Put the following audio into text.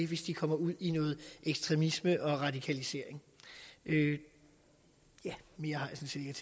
hvis de kommer ud i noget ekstremisme og radikalisering ja mere har